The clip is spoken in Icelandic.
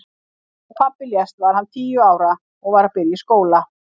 Þegar pabbi lést var hann tíu ára og var að byrja í skóla.